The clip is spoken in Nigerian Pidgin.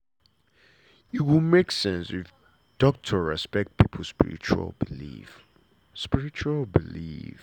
e go make sense if doctor respect pipo spiritual belief. spiritual belief.